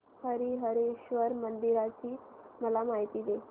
हरीहरेश्वर मंदिराची मला माहिती दे